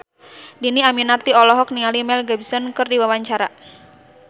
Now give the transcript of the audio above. Dhini Aminarti olohok ningali Mel Gibson keur diwawancara